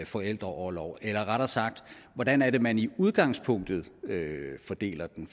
forældreorlov eller rettere sagt hvordan er det man i udgangspunktet fordeler den